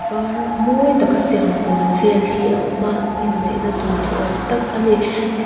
par mawi taka siam kual vel hi a awm a inneihna tur ni awm tak a ni ti--